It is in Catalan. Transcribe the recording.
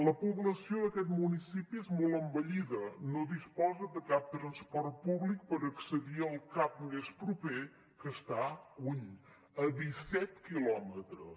la població d’aquest municipi és molt envellida no disposa de cap transport públic per accedir al cap més proper que està lluny a disset quilòmetres